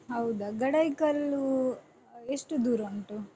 ಹೌದಾ ಗಡಾಯಿಕಲ್ಲು ಎಷ್ಟು ದೂರ ಉಂಟು?